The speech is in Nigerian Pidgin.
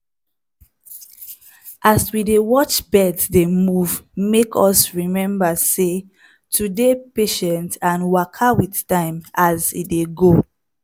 as we dey watch birds dey move make us remember sey to dey patient and waka with time as e dey go.